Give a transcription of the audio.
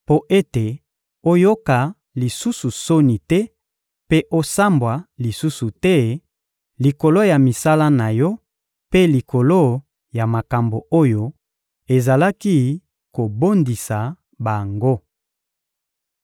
mpo ete oyoka lisusu soni te mpe osambwa lisusu te likolo ya misala na yo mpe likolo ya makambo oyo ezalaki kobondisa bango.